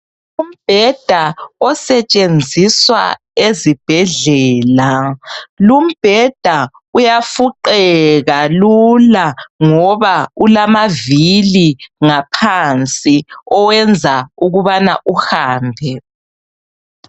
Umbheda osetshenziswa ezibhedlela lumbheda uyafuqeka lula ngoba ulamavili ngaphansi owenza ukubana uhambe